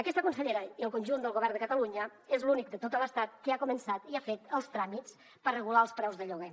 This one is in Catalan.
aquesta consellera i el conjunt del govern de catalunya és l’únic de tot l’estat que ha començat i ha fet els tràmits per regular els preus de lloguer